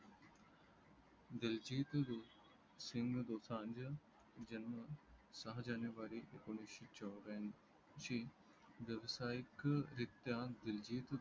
दिलीजीत सिंग दोसाज जन्म सहा जानेवारी एकोण वीसे च्व्र्यांशी ज्साय्क वृतांत दिलजित